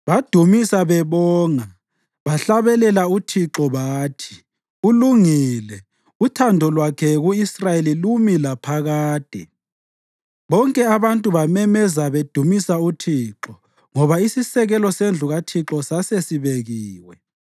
Badumisa bebonga, bahlabelela uThixo bathi: “Ulungile; uthando lwakhe ku-Israyeli lumi laphakade.” Bonke abantu bamemeza bedumisa uThixo ngoba isisekelo sendlu kaThixo sasesibekiwe.